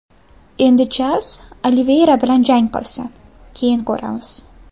Endi Charlz Oliveyra bilan jang qilsin, keyin ko‘ramiz.